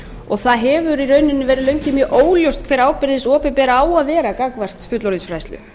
og það hefur í rauninni verið lengi mjög óljóst hver ábyrgð hins opinbera á að vera gagnvart fullorðinsfræðslu